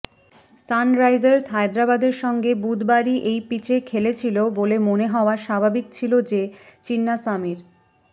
Sunrisers হায়দরাবাদের সঙ্গে বুধবারই এই পিচে খেলেছিল বলে মনে হওয়া স্বাভাবিক ছিল যে চিন্নাস্বামীর